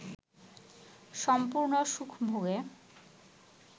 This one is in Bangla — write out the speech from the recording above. সম্পূর্ণ সুখভোগে